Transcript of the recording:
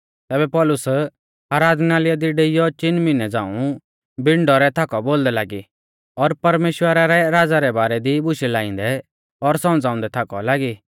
तैबै पौलुस आराधनालय दी डेइयौ चिन मिहनै झ़ांऊ बिण डौरै थाकौ बोलदै लागी और परमेश्‍वरा रै राज़ा रै बारै दी बुशै लाइंदै और सौमझ़ाउंदै थाकौ लागी